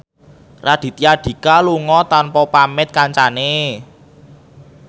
Raditya Dika lunga tanpa pamit kancane